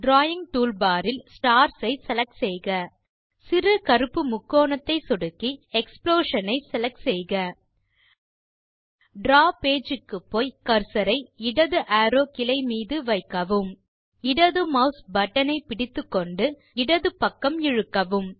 drawing toolbar இல் stars ஐ select செய்க சிறு கருப்பு முக்கோணத்தை சொடுக்கி எக்ஸ்ப்ளோஷன் ஐ செலக்ட் செய்க டிராவ் பேஜ் க்கு போய் கர்சர் ஐ இடது அரோவ் கிளை மீது வைக்கவும் இடது மாஸ் பட்டன் ஐ பிடித்துக்கொண்டு இடது பக்கம் இழுக்கவும்